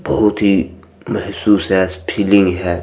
बहुत ही महसूस हेएत फीलिंग हेएत।